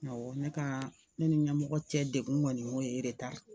Awɔ ne ka ne ni ɲɛmɔgɔ cɛ degun kɔni y'o ye eretara